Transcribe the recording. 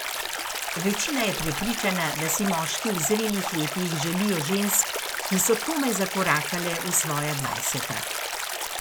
Večina je prepričana, da si moški v zrelih letih želijo žensk, ki so komaj zakorakale v svoja dvajseta.